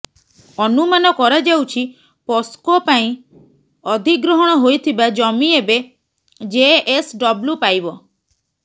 ଅନୁମାନ କରାଯାଉଛି ପସ୍କୋ ପାଇଁ ଅଧିଗ୍ରହଣ ହୋଇଥିବା ଜମି ଏବେ ଜେଏସଡବ୍ଲ୍ୟୁ ପାଇବ